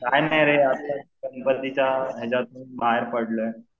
काय नाही रे गणपतीच्या हेच्यातुन बाहेर पडलोय